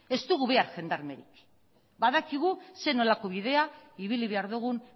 ez dugu behar jendarmerik badakigu ze nolako bidea ibili behar dugun